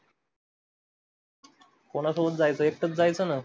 कोणासोबत जायचं, एकटाच जायचं ना.